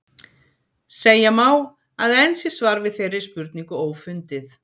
Segja má, að enn sé svar við þeirri spurningu ófundið.